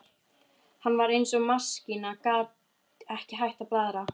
Hún var eins og maskína, gat ekki hætt að blaðra.